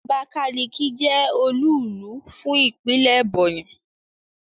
Abakaliki je olúùlú fún Ìpínlẹ̀ Ebonyi